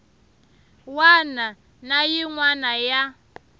wana na yin wana ya